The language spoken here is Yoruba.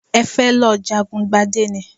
Ẹ fẹ́ lọ jagun gbadé ni?